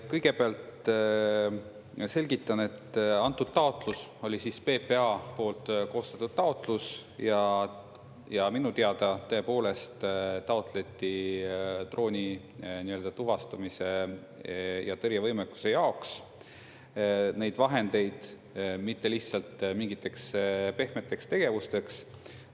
Kõigepealt selgitan, et antud taotlus oli PPA poolt koostatud taotlus ja minu teada tõepoolest taotleti drooni nii-öelda tuvastamise ja tõrje võimekuse jaoks neid vahendeid, mitte lihtsalt mingiteks pehmeteks tegevusteks.